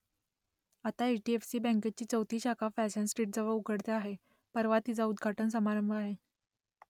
आता H D F C बँकेची चौथी शाखा फॅशन स्ट्रीटजवळ उघडते आहे परवा तिचा उद्घाटन समारंभ आहे